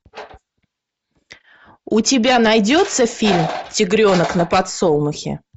у тебя найдется фильм тигренок на подсолнухе